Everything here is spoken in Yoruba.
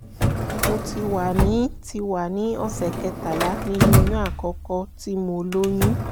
mo ti wà ní ti wà ní ọ̀sẹ̀ kẹtàlá nínú oyún àkọ́kọ́ tí mo lóyún